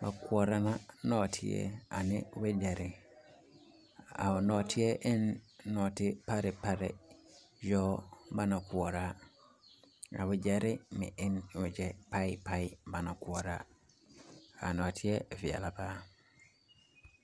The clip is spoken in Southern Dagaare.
ba koɔrɔ na nɔɔteɛ a ne wagyɛre,a nɔɔteɛ e ne nɔɔti parɛɛ parɛɛ yɔɔ baŋ koɔrɔ, a wagyɛre e ne wagyɛ parɛɛ parɛɛ baŋ koɔrɔ, a nɔɔteɛ veɛlɛ paa.